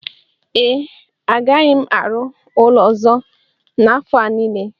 ee, agaghị m arụ ụlọ ọzọ n'afọ a nile